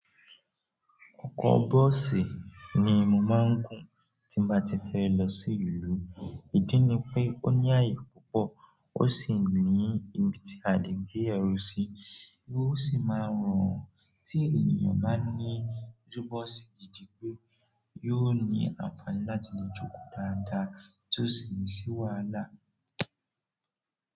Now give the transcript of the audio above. Ọkọ̀ bọ́ọ̀sì ni mo máa ń gùn tí bá ti fẹ́ lọ sí ìlú. Ìdí ni pé ó ní ààyè púpọ̀, ó sì ní ibi tí a lè gbé ẹrù sí. Ó sì máa rọrùn tí ènìyàn bá ní irú bọ́ọ̀sì gidi pé yóò ní àǹfààní láti lè jókòó dáadáa tí ó sì ní ṣí wàhala.